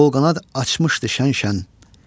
Qol-qanad açmışdı şən-şən.